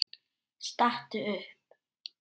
Stattu upp!